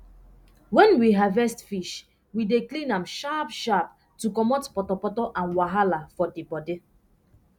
wen we harvest fish we dey clean am sharp sharp to comot potopoto and wahala for di bodi